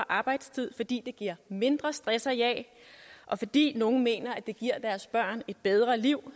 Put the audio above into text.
arbejdstid fordi det giver mindre stress og jag og fordi nogle mener at det giver deres børn et bedre liv